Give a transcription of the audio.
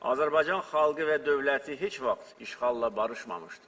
Azərbaycan xalqı və dövləti heç vaxt işğalla barışmamışdır.